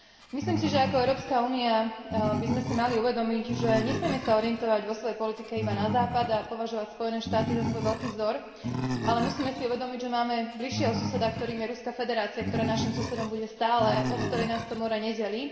Myslím si, že ako Európska únia by sme si mali uvedomiť, že nesmieme sa orientovať vo svojej politike iba na Západ a považovať Spojené štáty za svoj veľký vzor, ale musíme si uvedomiť, že máme bližšieho suseda, ktorým je Ruská federácia, ktorá naším susedom bude stále a od ktorej nás to more nedelí.